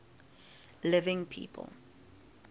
living people